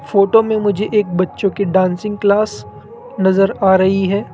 Photo में मुझे एक बच्चों के डांसिंग क्लास नजर आ रही है।